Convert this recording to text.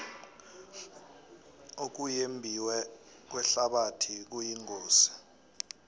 ukuyembiwe kwehlabathi kuyingozi